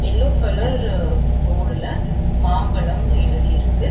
Yellow colour போர்டுல மாம்பலம்னு எழுதி இருக்கு.